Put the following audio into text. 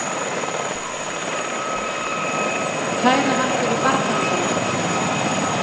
Kæra hann fyrir barnaverndarnefndinni!